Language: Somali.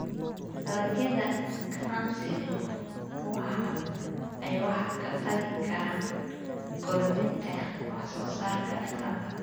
Dalagyada ganacsigu waxa ay wax ka tari karaan kordhinta wax soo saarka dalka.